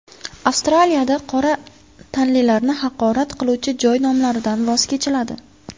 Avstraliyada qora tanlilarni haqorat qiluvchi joy nomlaridan voz kechiladi.